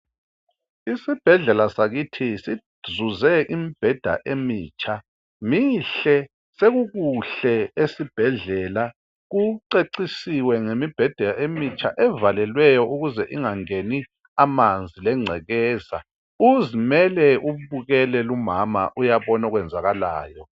Isibhedlela sakithi sizuze imibheda emitsha, mihle sekukuhle esibhedlela kucecisiwe ngemibheda emitsha evalelweyo ukuze ingangeni amanzi lengcekeza. Uzimele ubukele umama uyabona okwenzakalayo.